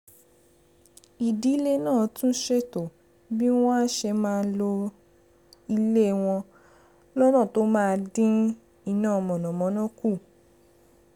ìdílé náà tún ṣètò bí wọ́n á ṣe máa lo ilé wọn lọ́nà tó máa dín iná mànàmáná kù